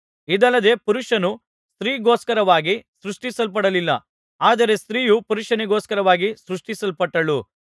ಇದಲ್ಲದೆ ಪುರುಷನು ಸ್ತ್ರೀಗೋಸ್ಕರವಾಗಿ ಸೃಷ್ಟಿಸಲ್ಪಡಲಿಲ್ಲ ಆದರೆ ಸ್ತ್ರೀಯು ಪುರುಷನಿಗೋಸ್ಕರವಾಗಿ ಸೃಷ್ಟಿಸಲ್ಪಟ್ಟಳು